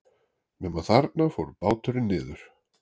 Nema þarna fór báturinn niður.